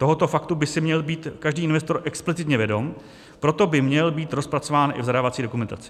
Tohoto faktu by si měl být každý investor explicitně vědom, proto by měl být rozpracován i v zadávací dokumentaci.